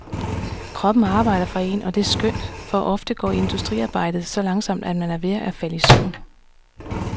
Kroppen arbejder for en, og det er skønt, for ofte går indstuderingsarbejdet så langtsomt, at man er ved at falde i søvn.